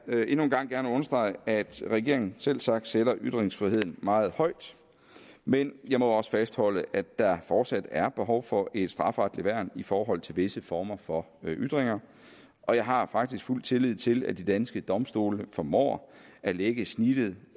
jeg endnu en gang gerne understrege at regeringen selvsagt sætter ytringsfriheden meget højt men jeg må også fastholde at der fortsat er behov for et strafferetsligt værn i forhold til visse former for ytringer og jeg har faktisk fuld tillid til at de danske domstole formår at lægge snittet